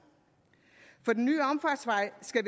for den nye omfartsvej skal